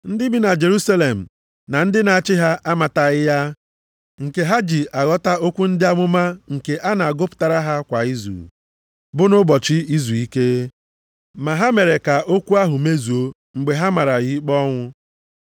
Ndị bi na Jerusalem na ndị na-achị ha amataghị ya, nke ha ji aghọta okwu ndị amụma nke a na-agụpụtara ha kwa izu, bụ nʼụbọchị izuike. Ma ha mere ka okwu ahụ mezuo, mgbe ha mara ya ikpe ọnwụ.